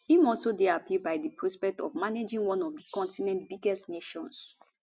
im also dey happy by di prospect of managing one of di continent biggest nations